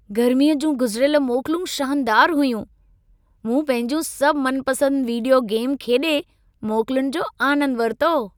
गर्मीअ जूं गुज़िरियल मोकलूं शानदारु हुयूं। मूं पंहिंजूं सभु मनपसंद वीडियो गेम खेॾे मोकलुनि जो आनंदु वरितो।